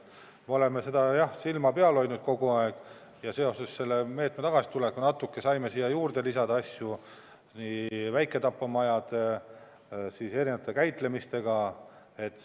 Me oleme silma peal hoidnud kogu aeg ja seoses selle meetme tagasitulekuga saime natuke siia juurde lisada asju väiketapamajade, erinevate käitlemiste kohta.